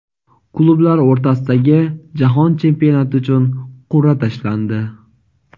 Klublar o‘rtasidagi jahon chempionati uchun qurʼa tashlandi.